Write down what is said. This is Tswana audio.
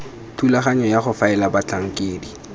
thulaganyo ya go faela batlhankedi